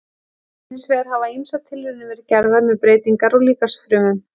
Hins vegar hafa ýmsar tilraunir verið gerðar með breytingar á líkamsfrumum.